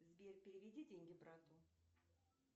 сбер переведи деньги брату